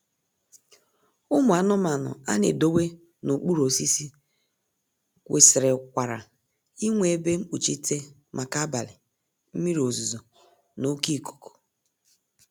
Ụmụ anụmanụ a na-edowe n'okpuru osisi kwesịrịkwara inwe ebe mkpuchite maka abalị, mmiri ozuzo na oké ikuku